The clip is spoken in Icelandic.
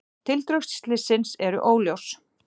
Tildrög slyssins eru óljós